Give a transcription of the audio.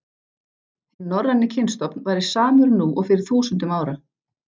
Hinn norræni kynstofn væri samur nú og fyrir þúsundum ára.